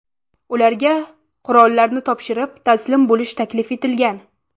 Ularga qurollarni topshirib, taslim bo‘lish taklif etilgan.